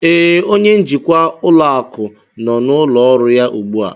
Ee, onye njikwa ụlọ akụ nọ n'ụlọ ọrụ ya ugbu a